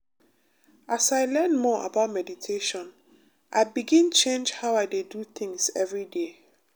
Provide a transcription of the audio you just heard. as i learn more about meditation i begin change how i dey do things every day.